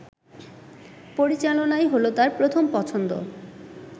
পরিচালনাই হল তার প্রথম পছন্দ